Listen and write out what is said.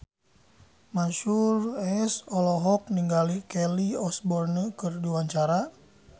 Mansyur S olohok ningali Kelly Osbourne keur diwawancara